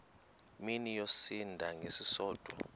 mini yosinda ngesisodwa